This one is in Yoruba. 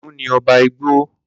Kiniun ni oba igbo.